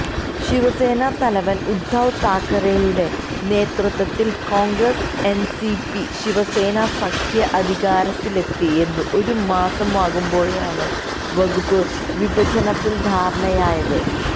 ശിവസേന തലവന് ഉദ്ധവ് താക്കറെയുടെ നേതൃത്വത്തില് കോണ്ഗ്രസ് എന്സിപി ശിവസേന സഖ്യം അധികാരത്തിലെത്തി ഒരു മാസമാകുമ്പേഴാണ് വകുപ്പ് വിഭജനത്തില് ധാരണയായത്